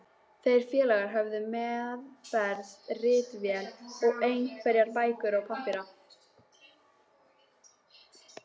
Þeir félagar höfðu meðferðis ritvél og einhverjar bækur og pappíra.